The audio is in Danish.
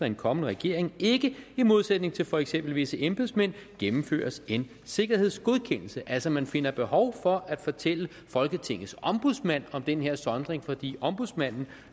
en kommende regering ikke i modsætning til for eksempel visse embedsmænd gennemføres en sikkerhedsgodkendelse altså man finder behov for at fortælle folketingets ombudsmand om den her sondring fordi ombudsmanden